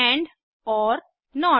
and or note